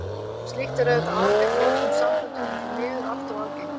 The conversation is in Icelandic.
Slíkt er auðvitað afleitt í öllum samböndum en því miður allt of algengt.